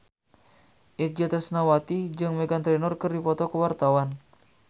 Itje Tresnawati jeung Meghan Trainor keur dipoto ku wartawan